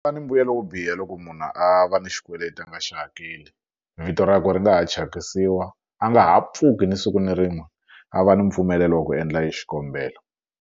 ni mbuyelo wo biha loko munhu a va ni xikweleti a nga xi hakeli vito ra kwe ri nga ha thyakisiwa a nga ha pfuki ni siku ni rin'we a va ni mpfumelelo wa ku endla e xikombelo.